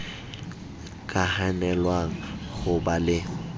ka hanelwang ho ba le